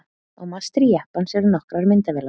Á mastri jeppans eru nokkrar myndavélar.